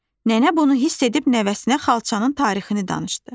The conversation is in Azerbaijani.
Nənə bunu hiss edib nəvəsinə xalçanın tarixini danışdı.